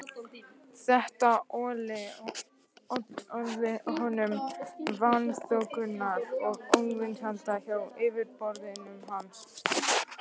Þetta olli honum vanþóknunar og óvinsælda hjá yfirboðurum hans.